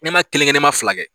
Ne ma kelen kɛ ne ma fila